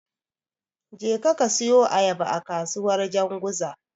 Jeka ka siyu Ayaba a kasuwar Janzuga.